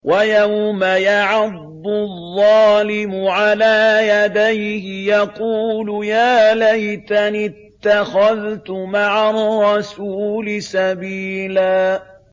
وَيَوْمَ يَعَضُّ الظَّالِمُ عَلَىٰ يَدَيْهِ يَقُولُ يَا لَيْتَنِي اتَّخَذْتُ مَعَ الرَّسُولِ سَبِيلًا